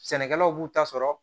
Sɛnɛkɛlaw b'u ta sɔrɔ